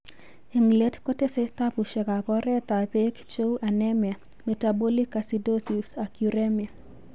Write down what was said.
en let kotese tapusiekap oret ap pek cheu anemia, metabolic acidosis ak uremia.